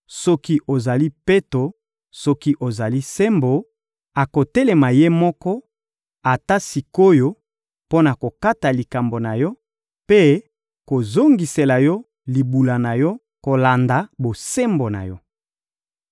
soki ozali peto, soki ozali sembo, akotelema Ye moko, ata sik’oyo, mpo na kokata likambo na yo mpe kozongisela yo libula na yo, kolanda bosembo na yo.